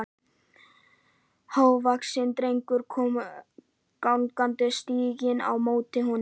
Hávaxinn drengur kom gangandi stíginn á móti honum.